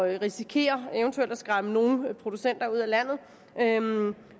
at risikere eventuelt at skræmme nogle producenter ud af landet